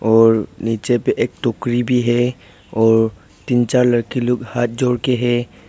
और नीचे पे एक टोकरी भी है और तीन चार लड़की लोग हाथ जोड़ के है।